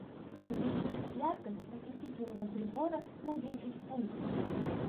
увеличить яркость осветительного прибора на десять пунктов